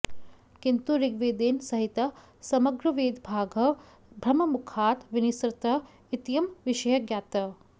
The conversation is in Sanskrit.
किन्तु ऋग्वेदेन सहितः समग्रवेदभागः ब्रह्ममुखात् विनिसृतः इत्ययं विषयः ज्ञायते